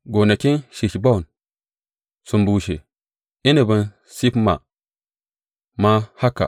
Gonakin Heshbon sun bushe, inabin Sibma ma haka.